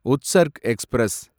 Utsarg express